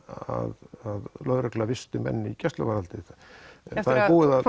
að lögreglan visti menn í gæsluvarðhaldi það er búið að